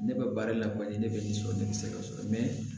Ne bɛ baara la kɔni ne bɛ nisɔndiya ne bɛ se ka sɔrɔ